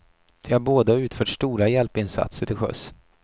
De har båda utfört stora hjälpinsatser till sjöss.